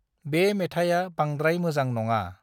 बे मेथाइआ बांद्राय मोजां नङा।